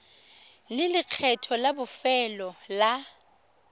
le lekgetho la bofelo la